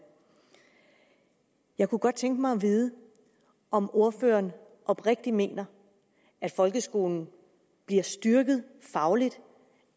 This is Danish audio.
jeg kunne godt tænke mig at vide om ordføreren oprigtigt mener at folkeskolen bliver styrket fagligt